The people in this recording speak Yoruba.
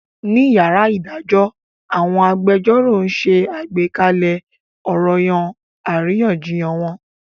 Ní yàrá ìdájọ́ àwọn agbẹjẹ́rọ̀ ṣe àgbékalẹ̀ ọranyan àríyànjiyàn wọn.